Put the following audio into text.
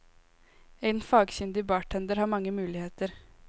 En fagkyndig bartender har mange muligheter.